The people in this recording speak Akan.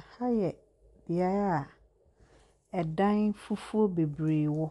Aha yɛ beae a ɛdan fufu bebree wɔ.